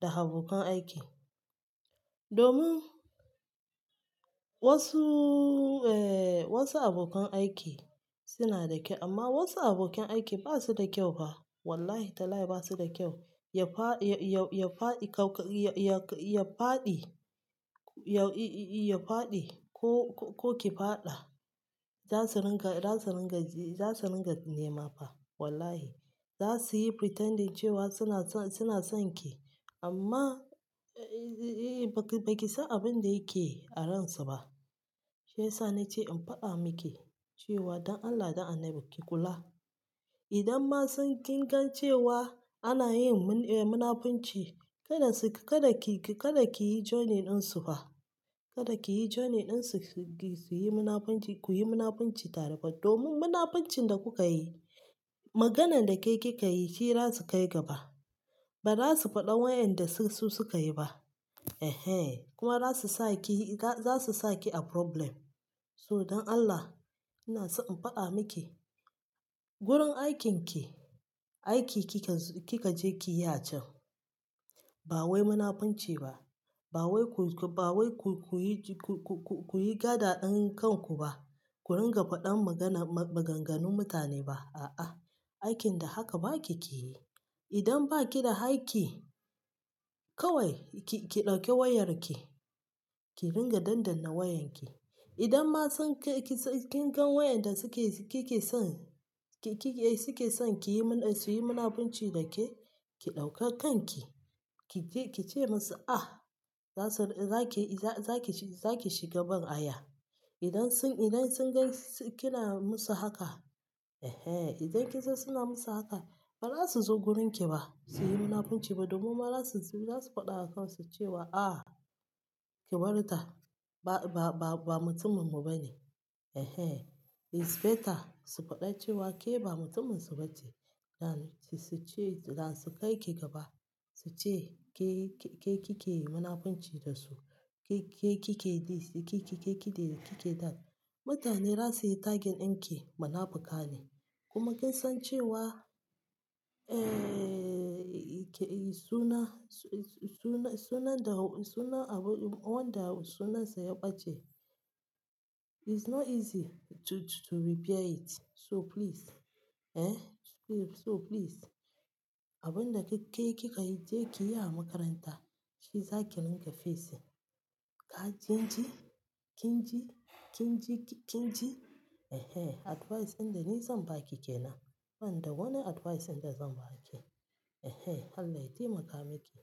da abokan aiki. Domin wasu, eh wasu abokan aiki suna da kyau amma wasu abokan aiki ba su da kyau ha. Wallahi talahi ba su da kyau. Ya fa, ya, ya, ya faɗi, ya, ya, ya faɗi, ya, i, i, i, ya faɗi ko, ko ki faɗa. Za su ringa, za su ringa, za su ringa nema fa wallahi. Za su yi pretending cewa suna son, suna son ki amma, eh, eh, ba ki, ba ki san abin da yake a ransu ba. Shiyasa na ce in faɗa miki cewa don Allah, don Allah ki kula. Idan ma sun ki gan cewa ana yin mun, eh munafunci, kada su, kada ki, kada ki yi joining ɗinsu fa. Kada kiyi joining dinsu suyi munafunci, kuyi mna funci tare fa domin munafunci da kuke yi maganan da kika yi shi zasu kai gaba ba za su faɗa wayanda su suka yi ba. Ehen kuma zasu sa ki, zasu saki a problem So don Allah ina so in faɗa miki, gurin aikinki, aiki kikazo, kika je kiyi a can. Ba wai munafunci ba. Ba wai ku, ba wai ku, ku yi, ku, ku, ku yi gada ɗin kanku ba. Ku ringa faɗan magana, maganganun mutane ba. A'a, aikin da haka baki ki yi. Idan ba ki da aiki kawai ki, ki ki dauke wayarki. Ki ringa dandana wayanki. Idan ma sun kai ki, kin gan wayanda suke, kike son, ki, ki, suke son ki yi mun, su yi munafunci da ke, ki ɗauka kanki. Ki je ki ce musu ah, za su, za ki, za ki, za ki shiga ban aya. Idan sun, idan sun gan suna musu haka, eh, idan kin san suna musu haka, ba za su zo wurinki ba su yi munafunci ba domin kuma za su, za su faɗa wa kansu cewa ah, ki bari ta. Ba, ba, ba, ba mutuminmu ba ne. Ehen is better su fada cewa ke ba mutun narsu bace dan su ce, dan su kai ki gaba. Su ce ke, ke kike yi munafunci da su. Ke, ke kike yi, ke ki, ke kike da, kike dal. Mutane za su yi target din ki. Mana fuƙa ne. Kuma kin san cewa, eh, suna, suna, suna da, suna abu, wanda sunansa ya ɓace. It's not easy to, to repair it. So please, eh, please so please abin da ke, kika yi je kiyi a makaranta. Shi zaki rinka fesin. Ah kin ji? Kin ji? Kin ji? Kin ji? Ehe, advice ɗin da ni zan ba ki ke nan. Banda wani advice ɗin da zan ba ki. Ehe, Allah ya taimaka miki.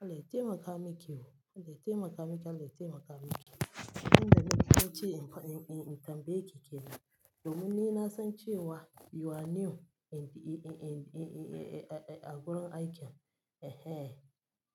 Allah ya taimaka miki o. Allah ya taimaka miki. Allah ya taimaka miki. Nan da nan zan ce in, in, in tambaye ki ke nan. Domin ni na san cewa you are new and, and, a, a gurin aikin. Ehe.